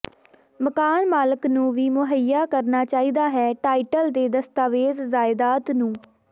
ਮਕਾਨ ਮਾਲਕ ਨੂੰ ਵੀ ਮੁਹੱਈਆ ਕਰਨਾ ਚਾਹੀਦਾ ਹੈ ਟਾਈਟਲ ਦੇ ਦਸਤਾਵੇਜ਼ ਜਾਇਦਾਦ ਨੂੰ